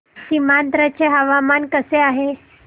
सीमांध्र चे हवामान कसे आहे